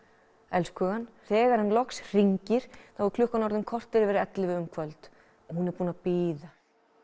elskhugann þegar hann loks hringir þá er klukkan orðin korter yfir ellefu um kvöld og hún er búin að bíða æ